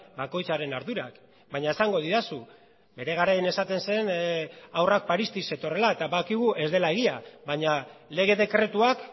bakoitzaren ardurak baina esango didazu bere garaian esaten zen haurrak parisik zetorrela eta badakigu ez dela egia baina lege dekretuak